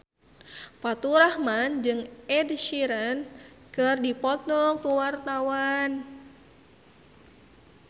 Faturrahman jeung Ed Sheeran keur dipoto ku wartawan